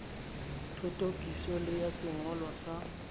thothokiso le ya sengolwa sa